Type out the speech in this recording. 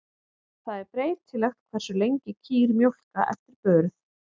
Það er breytilegt hversu lengi kýr mjólka eftir burð.